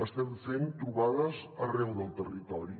estem fent trobades arreu del territori